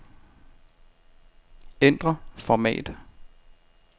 Ændr format.